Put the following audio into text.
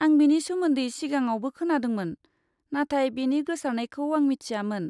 आं बेनि सोमोन्दै सिगाङावबो खोनादोंमोन, नाथाय बेनि गोसारनायखौ आं मिथियामोन।